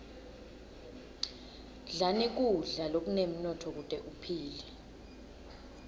dlani kudla lokunemnotfo kute uphile